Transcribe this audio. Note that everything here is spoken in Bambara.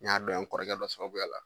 N y'a dɔn yan n kɔrɔkɛ don sababuya la.